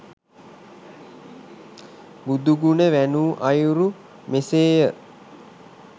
බුදුගුණ වැණූ අයුරු මෙසේ ය.